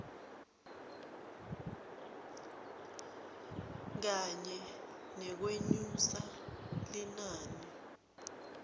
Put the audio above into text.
kanye nekwenyusa linani